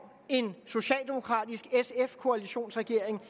en socialdemokratisk sf koalitionsregering